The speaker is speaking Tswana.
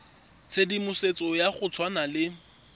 tshedimosetso ya go tshwana le